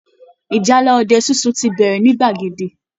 Ìjálá ọdẹ sunsun ti bẹ̀rẹ̀ ní gbàgede